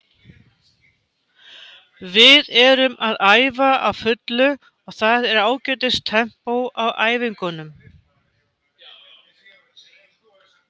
Við erum að æfa á fullu og það er ágætis tempó á æfingunum.